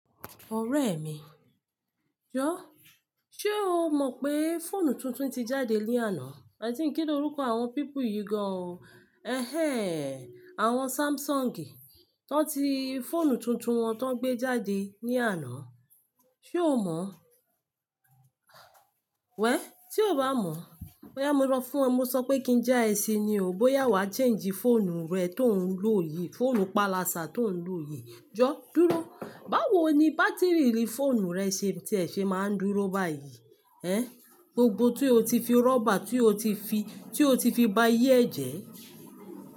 Ọ̀rẹ́ mi, jọ̀ọ́ ṣé o mọ̀ pé fóònù tuntun ti jáde ní àná? I think, kí ni orúkọ àwọn people yìí gan-an o. Ẹ̀hẹ̀ẹ́n, àwọn Samsung, wọ́n ti fóònù tuntun wọn tó gbé jáde ní àná. Ṣé o mọ̀? Well, tí ò bá mọ̀-ọ́n, bóyá mo rọ fún ọ, mo sọ pé kí n já ẹ si ni o, bóyá wàá change fóònù rẹ tó ò ń lò yìí, fóònù pálasà tó ò ń lò yìí. Jọ̀ọ́, dúró, báwo ni bátíìrì fóònù rẹ ṣe tí ẹ ṣe máa ń dúró báyìí? Ẹ́, gbogbo tí o ti fi rọ́bà tí o ti fi, tí o ti fi bayé ẹ̀ jẹ́.